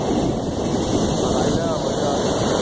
ਤੇ ਪਤਾ ਹੀ ਲੈ ਆਵੋ ਜਾ ਕੇ।